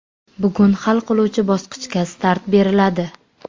Bugun hal qiluvchi bosqichga start beriladi.